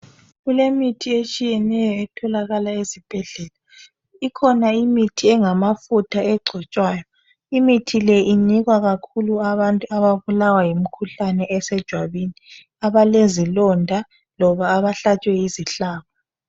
Kulemithi etshiyeneyo etholakala ezibhedlela . Ikhona imithi engamafutha egcotshwayo. Imithi le inikwa kakhulu abantu ababulawa yimikhuhlane esejwabeni , abalezilonda loba abahlatshwe yisihlabo.